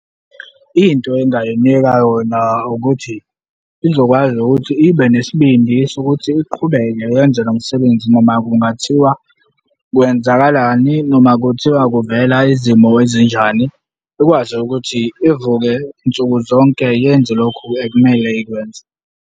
Into engingayinika yona ukuthi izokwazi ukuthi ibe nesibindi sokuthi iqhubeke yenze lo msebenzi noma kungathiwa kwenzakalani noma kuthiwa kuvela izimo ezinjani. Ikwazi ukuthi ivuke nsuku zonke yenze lokhu ekumele ikwenze.